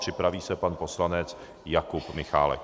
Připraví se pan poslanec Jakub Michálek.